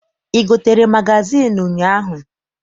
I gotere magazịịnụ ụnyaahụ?